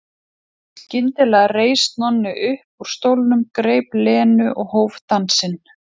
Skyndilega reis Nonni upp úr stólnum, greip Lenu og hóf dansinn.